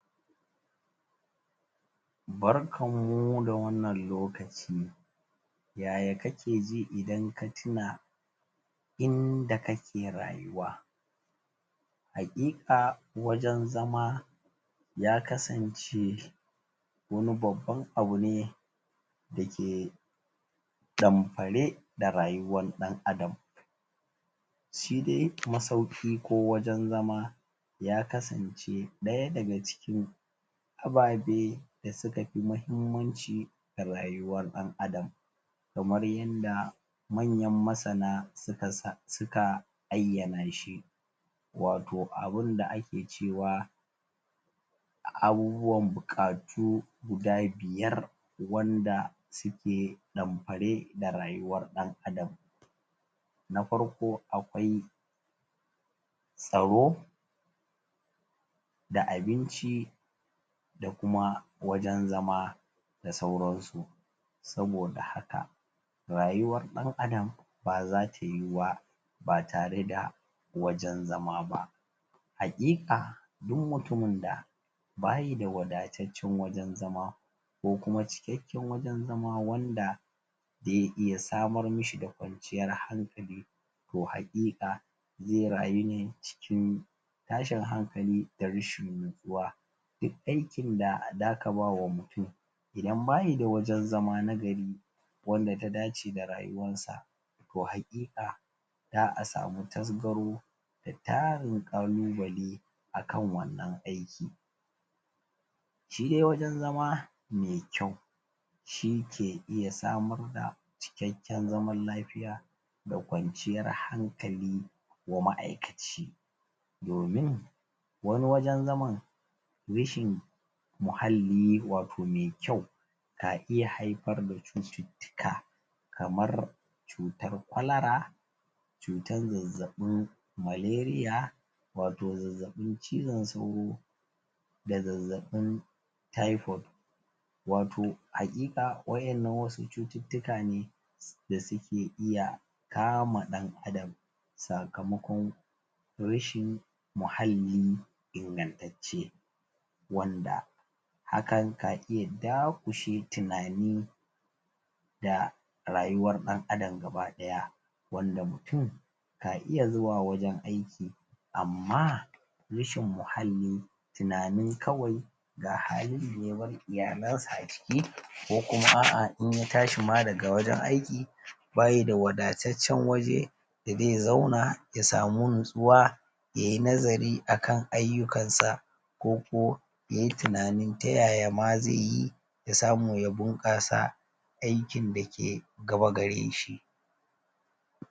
Barkan mu da wannan lokaci ya ya kake ji idan ka tuna inda kake rayuwa haƙiƙa wajen zama ya kasance wani babban abu ne dake ɗamfare da rayuwan ɗan Adam shi dai masauƙi ko wajen zama ya kasance ɗaya daga cikin ababe da su ka fi mahimmanci a rayuwar ɗan Adam kamar yanda manyan masana su ka sa su ka ayyana shi wato abin da ake cewa abubuwan buƙatu guda biyar wanda suke ɗamfare da rayuwar ɗan Adam na farko akwai tsaro da abinci da kuma wajen zama da sauransu saboda haka rayuwar ɗan Adam ba zata yiwu ba ba tare da wajen zama ba haƙiƙa duk mutumin da ba yi da wadataccen wajen zama ko kuma cikakken wajen zama wanda ze iya samar mi shi da kwanciyar hankali to haƙiƙa ze rayu ne cikin tashin hankali da rashin nutsuwa duk aikin da za ka ba wa mutum idan ba yi da wajen zama na gari wanda ta dace da rayuwansa to haƙiƙa za a samu tasgaro da tarin ƙalubale a kan wannan aiki shi de wajen zama me kyau shi ke iya samar da cikakken zaman lafiya da kwanciyar hankali wa ma'aikaci domin wani wajen zaman rashin muhalli wato me kyau ka iya haifar da cututtuka kamar cutar kwalara cutan zazzaɓin malaria wato zazzaɓin cizon sauro da zazzaɓin typhoid wato haƙiƙa waƴannan wasu cututtuka ne da suke iya kama ɗan Adam sakamakon rashin muhalli ingantacce wanda hakan ka iya daƙushe tunani da rayuwar ɗan Adam gaba-ɗaya wanda mutum ka iya zuwa wajen aiki amma rashin muhalli tunanin kawai ga halin da ya bar iyalansa a ciki ko kuma a'a in ya tashi ma daga wajen aiki ba shi da wadataccen waje da ze zauna ya samu nutsuwa ya yi nazari akan ayyukansa ko ko ya yi tunanin ta ya ya ma ze yi ya samu ya bunƙasa aikin dake gaba gare shi